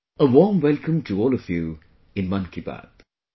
A warm welcome to all of you in 'Mann Ki Baat'